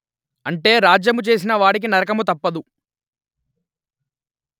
అంటే రాజ్యము చేసిన వాడికి నరకము తప్పదు